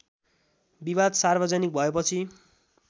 विवाद सार्वजनिक भएपछि